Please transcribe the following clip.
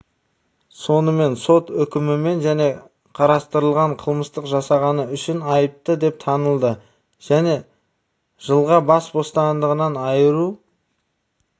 сонымен сот үкімімен және қарастырылған қылмысты жасағаны үшін айыпты деп танылды және жылға бас бостандығынан айыру